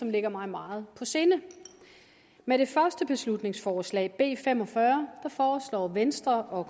ligger mig meget på sinde med det første beslutningsforslag b fem og fyrre foreslår venstre og